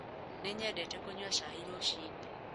Nĩ nyendete kũnyua cai rũcinĩ.